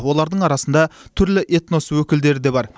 олардың арасында түрлі этнос өкілдері де бар